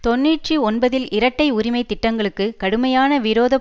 தொன்னூற்றி ஒன்பதில் இரட்டை உரிமை திட்டங்களுக்குக் கடுமையான விரோத